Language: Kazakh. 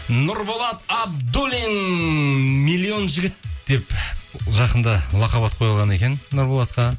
нұрболат абдуллин миллион жігіт деп жақында лақап ат қойылған екен нұрболатқа